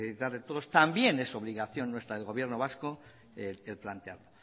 especificar todos también es su obligación nuestra del gobierno vasco el plantearlo